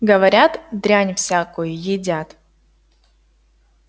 говорят дрянь всякую едят